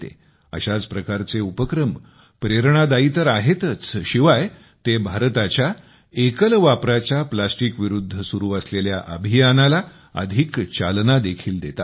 अशा प्रकारचे उपक्रम प्रेरणादायी तर आहेतच शिवाय ते भारताच्या एकल वापराच्या प्लॅस्टिक विरुद्ध सुरु असलेल्या अभियानाला अधिक चालना देखील देतात